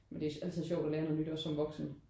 Men det er altid sjovt at lære noget nyt også som voksen